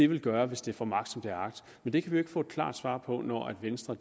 vil gøre hvis det får magt som det har agt men det kan vi ikke få et klart svar på når venstre